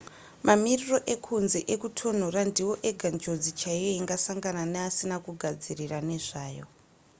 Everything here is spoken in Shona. mamiriro ekunze ekutonhora ndiwo ega njodzi chaiyo ingasangana neasina kugadzirira nezvayo